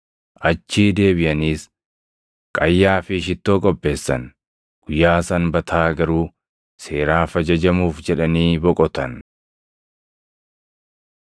Achii deebiʼaniis qayyaa fi shittoo qopheessan. Guyyaa Sanbataa garuu seeraaf ajajamuuf jedhanii boqotan.